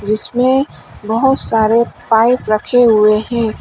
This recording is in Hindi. इसमें बहोत सारे पाइप रखे हुए है।